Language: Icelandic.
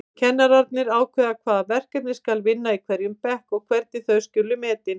Kennararnir ákveða hvaða verkefni skal vinna í hverjum bekk og hvernig þau skuli metin.